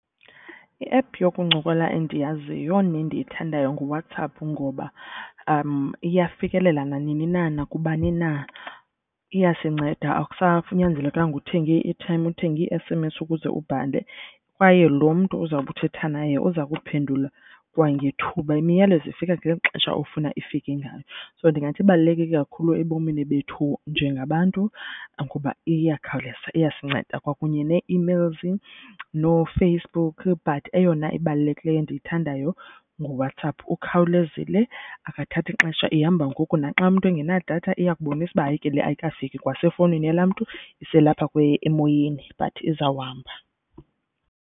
I-app yokuncokola endiyaziyo nendiyithandayo nguWhatsApp ngoba iyafikelela nanini na nakubani na. Iyasinceda akusanyanzelekanga uthenge i-airtime uthenge i-S_M_S ukuze ubhale. Kwaye lo mntu uzawube uthetha naye uza kuphendula kwangethuba, imiyalezo ifika ngeli xesha ofuna ifike ngalo. So ndingathi ibaluleke kakhulu ebomini bethu njengabantu ngoba iyakhawuleza, iyasinceda kwakunye nee-emails nooFacebook but eyona ibalulekileyo endiyithandayo nguWhatsApp. Ukhawulezile akathathi xesha ihamba ngoku naxa umntu engenadatha iyakubonisa uba, hayi ke le ayikafiki kwase fowunini yalaa mntu iselapha emoyeni but izawuhamba.